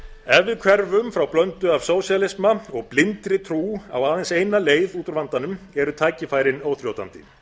ef við hverfum frá blöndu af sósíalisma og blindri trú á aðeins eina leið út úr vandanum eru tækifærin óþrjótandi